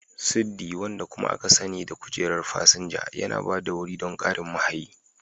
Siddi, wanda kuma aka sani da kujerar fasinja, yana ba da wuri don ƙarin mahayi.